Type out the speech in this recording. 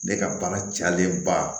Ne ka baara cɛlenba